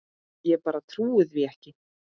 Ég bara trúi því ekki.